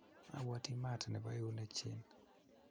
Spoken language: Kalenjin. abwoti maat nebo eunek chin